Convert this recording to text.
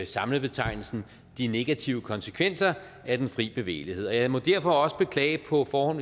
samlebetegnelsen de negative konsekvenser af den fri bevægelighed jeg må derfor også på forhånd